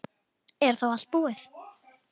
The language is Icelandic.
Er þá allt búið?